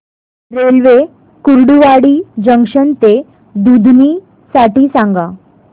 railway Kurduwadi junction ते दुधनी साठी सांगा